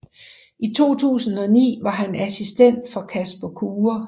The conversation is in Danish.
I 2009 var han assistent for Jasper Kure